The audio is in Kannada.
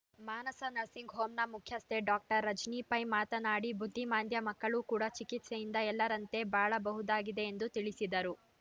ಮಾನಸ ನರ್ಸಿಂಗ್‌ ಹೋಂನ ಮುಖ್ಯಸ್ಥೆ ಡಾಕ್ಟರ್ ರಜನಿ ಪೈ ಮಾತನಾಡಿ ಬುದ್ಧಿಮಾಂದ್ಯಮಕ್ಕಳು ಕೂಡ ಚಿಕಿತ್ಸೆಯಿಂದ ಎಲ್ಲರಂತೆ ಬಾಳಬಹುದಾಗಿದೆ ಎಂದು ತಿಳಿಸಿದರು